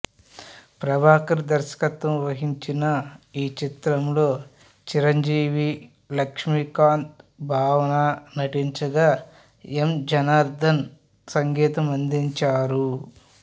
ప్రభాకర్ దర్శకత్వం వహించిన ఈ చిత్రంలో చిరంజీవి లక్ష్మీకాంత్ భావన నటించగా ఎమ్ జనార్దన్ సంగీతం అందించారు